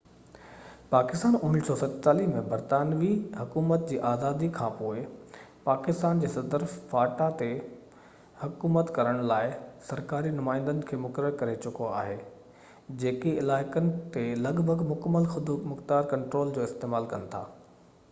پاڪستان 1947 ۾ برطانوي حڪومت جي آزادي کانپوءِ پاڪستاني صدر فاٽا تي حڪومت ڪرڻ لاءِ سرڪاري نمائندن کي مقرر ڪري چڪو آهي جيڪي علائقن تي لڳ ڀڳ مڪمل خودمختيار ڪنٽرول جو استعمال ڪن ٿا